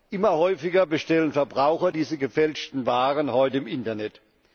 Immer häufiger bestellen Verbraucher diese gefälschten Waren heute im Internet.